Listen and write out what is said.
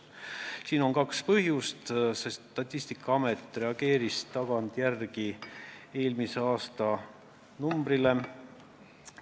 Siin on kaks põhjust, sest Statistikaamet reageeris tagantjärele eelmise aasta numbrile.